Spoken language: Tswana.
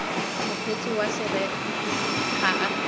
mokgweetsi wa serori ga a